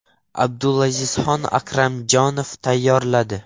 Abdulazizxon Akramjonov tayyorladi.